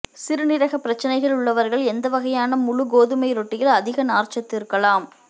சிறுநீரக பிரச்சினைகள் உள்ளவர்கள் எந்த வகையான முழு கோதுமை ரொட்டியில் அதிக நார்ச்சத்து இருக்கலாம்